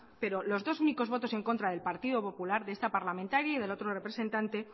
pero los dos únicos votos en contra del partido popular de esta parlamentario y del otro representante